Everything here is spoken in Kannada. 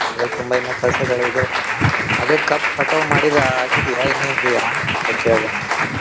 ತುಂಬಾ ಇನ್ನ ಕೆಲ್ಸಗಳ ಅದೇ ಕಬ್ಬ್ ಕಟಾವ್ ಮಾಡಿದಾಗಿದೆಯಾ ಇನ್ನ್ ಇದೇಯಾ ಅಂತ ಕೇಳ್ದೆ ನಾನು?